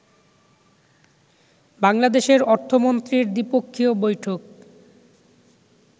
বাংলাদেশের অর্থমন্ত্রীর দ্বিপক্ষীয় বৈঠক